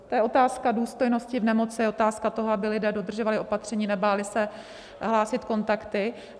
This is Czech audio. To je otázka důstojnosti v nemoci, otázka toho, aby lidé dodržovali opatření, nebáli se hlásit kontakty.